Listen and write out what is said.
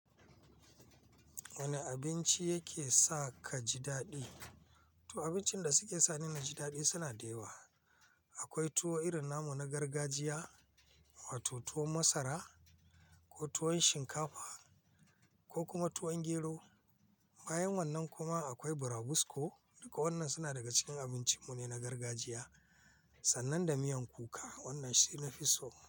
Wane abinci yake sa ka ji daɗi? To abincin da suke sa ni na ji daɗi suna da yawa. Akwai tuwo irin namu na gargajiya, wato tuwon masara ko tuwo shinkafa ko kuma tuwon gero. Bayan wannan kuma akwai burabusko. Duka wannan suna daga cikin abincin mu ne na gargajiya. Sannan da miyan kuka, wannan shi na fi so.